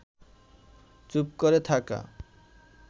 চুপ করে থাকা